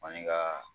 Fani ka